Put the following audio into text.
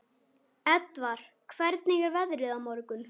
Edvard, hvernig er veðrið á morgun?